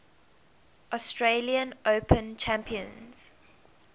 australian open champions